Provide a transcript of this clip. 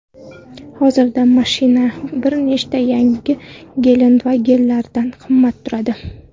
Hozirda mashina bir nechta yangi Gelandewagen’lardan qimmat turadi.